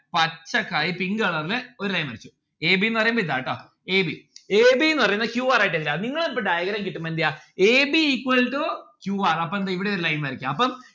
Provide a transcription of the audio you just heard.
കായ് pink colour ല് ഒരു line വരച്ചു A B ന്ന് പറയുമ്പോ ഇതാ ട്ടൊ a b ന്ന് പറയുന്നെ q r ആയിട്ട് എടുക്ക നിങ്ങൾ ഇപ്പൊ diagram കിട്ടുമ്പോ എന്തെയ്യാ A B equal to Q R അപ്പൊ എന്താ ഇവിടെയൊരു line വരക്ക അപ്പം